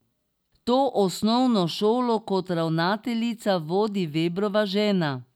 To osnovno šolo kot ravnateljica vodi Vebrova žena.